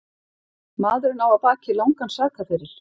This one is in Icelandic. Maðurinn á að baki langan sakaferil